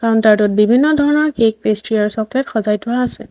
Counter টোত বিভিন্ন ধৰণৰ কেক পেষ্ট্ৰী আৰু চকলেট সজাই থোৱা আছে।